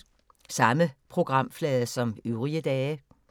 Samme programflade som øvrige dage